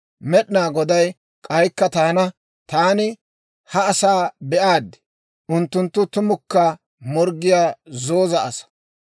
«Med'inaa Goday k'aykka taana, ‹Taani ha asaa be'aad; unttunttu tumukka morggiyaa zooza asaa.